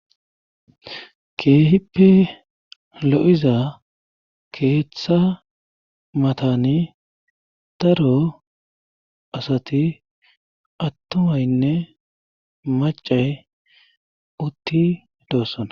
keehippe lo7iza keeththa matani taro asati attumaynne macay utti doossona